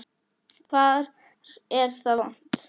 Hvar er það vont?